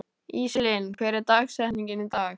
Íselín, hver er dagsetningin í dag?